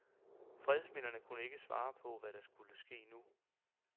Fredsmæglerne kunne ikke svare på, hvad der nu vil ske.